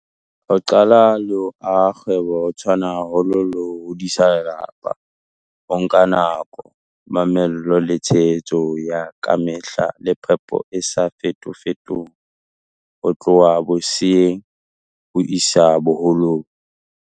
Ho qala le ho aha kgwebo ho tshwana haholo le ho hodisa lelapa. Ho nka nako, mamello, le tshehetso ya kamehla le phepo e sa fetofetong ho tloha boseyeng ho isa boholong.